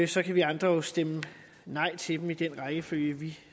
så kan vi andre stemme nej til dem i den rækkefølge vi